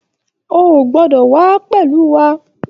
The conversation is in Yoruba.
O ò gbọdọ̀ wà á pẹ̀lú wa